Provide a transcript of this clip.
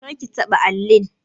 Kar ki taɓa allin!